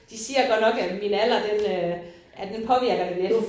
De siger godt nok at min alder den øh at den påvirker det lidt